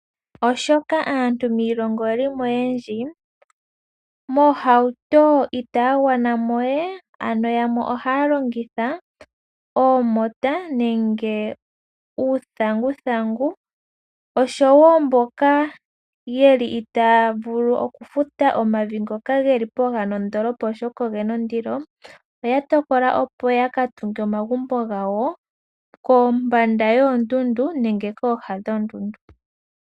Molwashoka aantu miilongo oye li mo oyendji, miihauto itaya gwana mo we. Yamwe ohaya longitha oomota nenge uuthanguthangu, oshowo mboka itaa vulu okufuta omavi ngoka ge li popepi nondoolopa oshoka oge na ondilo oya tokola opo ya ka tunge omagumbo gawo kooha dhoondundu nenge pooha dhoondundu.